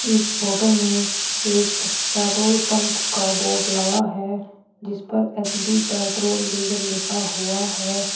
इस फोटो में एक पेट्रोल पंप का बोर्ड लगा है जिस पे एच_पी पेट्रोल डीजल लिखा हुआ है।